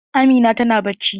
Amina ta na bacci.